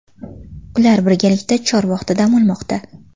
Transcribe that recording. Ular birgalikda Chorvoqda dam olmoqda.